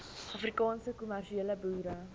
afrikaanse kommersiële boere